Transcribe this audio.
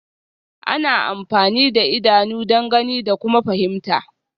Ana amfani da idanu don gani da kuma fahimta